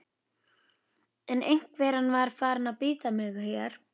En einveran var farin að bíta mig hér.